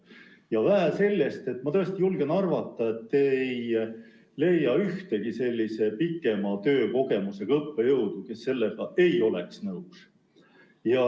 Ja vähe sellest, ma tõesti julgen arvata, et te ei leia ühtegi sellise pikema töökogemusega õppejõudu, kes ei oleks sellega nõus.